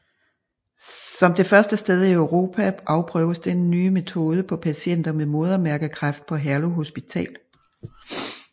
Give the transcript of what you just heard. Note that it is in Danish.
Som det første sted i Europa afprøves den nye metode på patienter med modermærkekræft på Herlev Hospital